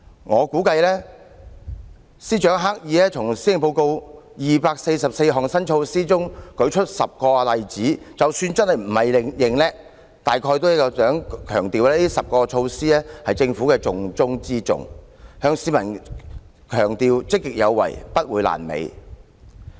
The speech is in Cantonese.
我估計司長刻意從施政報告的244項新措施中舉出10個例子，即使不是逞強，大概也是想強調這10項措施是政府的重中之重，向市民強調積極有為，不會"爛尾"。